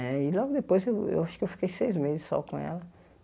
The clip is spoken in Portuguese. Né e logo depois, eu eu acho que eu fiquei seis meses só com ela.